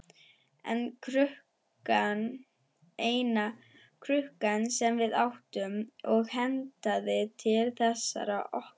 Eina krukkan sem við áttum og hentaði til þessara nota.